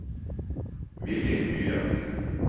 Villy Myren